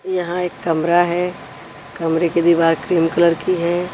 यहां एक कमरा है कमरे के दीवार क्रीम कलर की है।